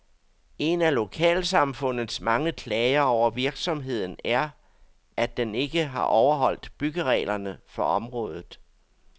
En af lokalsamfundets mange klager over virksomheden er, at den ikke har overholdt byggereglerne for området.